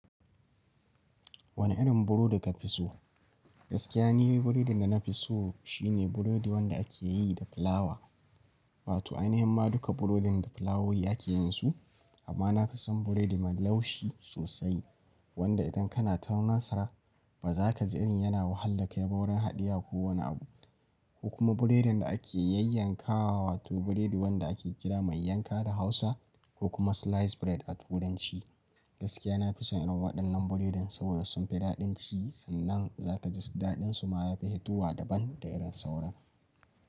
Wane irin burodi ka fi so? Gaskiya ni buredin da na fi so shine burodi wanda ake yi da fulawa. Wato ai nihimma duka burodin da fulawowi ake yin su, amma na fi son burodi mai laushi sosai. Wanda idan kana taunan sa ba za ka ji irin yana wahalar kai ba wurin haɗiya ko wani abu. Ku kuma burodin da ake yayyanka wa, wato burodi wanda ake kira mai yanka da hausa ko kuma slice bread a turanci. Gaskiya na fi son irin waɗannan burodin saboda sun fi daɗin ci sannan za ka ji daɗin su ma ya fi hituwa daban da irin sauran.